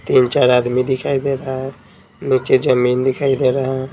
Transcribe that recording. तीन-चार आदमी दिखाई दे रहा है नीचे जमीन दिखाई दे रहा है।